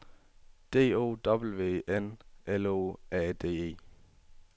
D O W N L O A D E